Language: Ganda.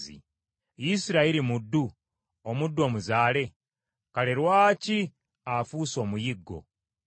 “Isirayiri muddu, omuddu omuzaale? Kale lwaki afuuse omuyiggo?